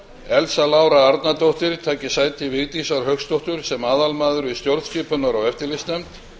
elsa lára arnardóttir taki sæti vigdísar hauksdóttur sem aðalmaður í stjórnskipunar og eftirlitsnefnd